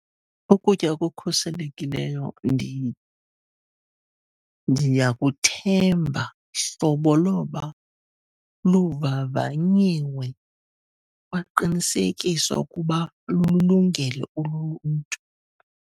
Ukutya okukhuselekileyo ndiyakuthemba hlobo loba luvavanyiwe, kwaqinisekiswa ukuba lululungele uluntu.